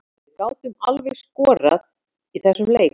Við gátum alveg skorað í þessum leik.